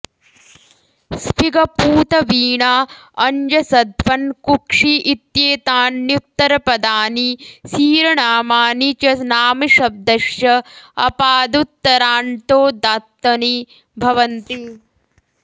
स्फिग पूत वीणा अञ्जसध्वन् कुक्षि इत्येतान्युत्तरपदानि सीरनामानि च नामशब्दश्च अपादुत्तराण्यन्तोदात्तनि भवन्ति